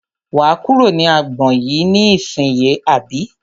Wà á kúrò ní agbọn yìí ní ìsínyì àbí?